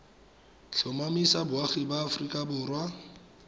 tlhomamisa boagi ba aforika borwa